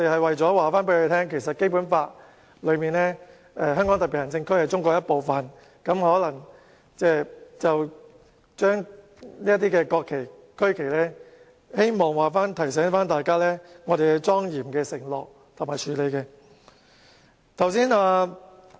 為了告訴他們，《基本法》訂明香港特別行政區是中國的一部分，我們便擺放國旗和區旗，提醒大家需要莊嚴地承諾和處理。